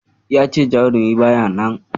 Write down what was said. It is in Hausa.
Ya ce jarumi ba ya nan.